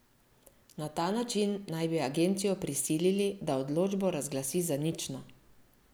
Na ta način naj bi agencijo prisilili, da odločbo razglasi za nično.